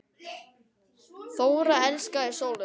Þóra elskaði sólina.